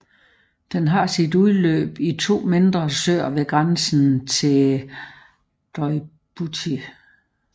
Den har sit udløb i to mindre søer ved grænsen til Djibouti